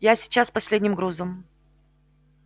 я сейчас с последним грузом